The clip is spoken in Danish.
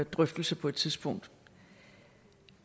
drøftelse på et tidspunkt